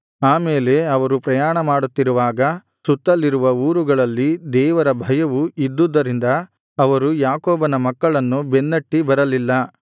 ಆಮೇಲೆ ಅವರು ಪ್ರಯಾಣ ಮಾಡುತ್ತಿರುವಾಗ ಸುತ್ತಲಿರುವ ಊರುಗಳಲ್ಲಿ ದೇವರ ಭಯವು ಇದ್ದುದರಿಂದ ಅವರು ಯಾಕೋಬನ ಮಕ್ಕಳನ್ನು ಬೆನ್ನಟ್ಟಿ ಬರಲಿಲ್ಲ